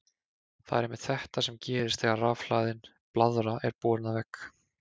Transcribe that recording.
Það er einmitt þetta sem gerist þegar rafhlaðin blaðra er borin að vegg.